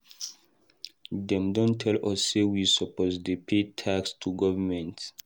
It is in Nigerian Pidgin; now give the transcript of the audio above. Dem don tell us say we suppose dey pay tax to government.